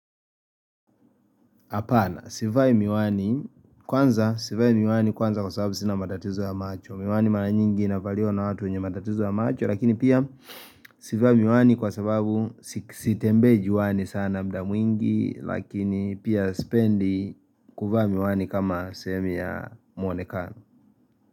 Apana, sivai miwani kwanza, sivai miwani kwanza kwa sababu sina matatizo ya macho, miwani mala nyingi inavaliwa na watu unye matatizo ya macho lakini pia sivai miwani kwa sababu sitembe juani sana mda mwingi lakini pia spendi kuvaa miwani kama sehemu ya muonekano.